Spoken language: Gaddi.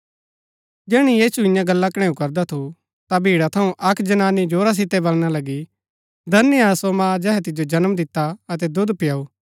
जैहणै यीशु इआं गल्ला कणैऊ करदा थू ता भीड़ा थऊँ अक्क जनानी जोरा सितै वलणा लगी धन्य हा सो मां जेहै तिजो जन्म दिता अतै दुध पिआऊ